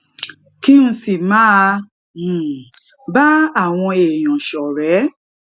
kí n sì máa um bá àwọn èèyàn ṣòré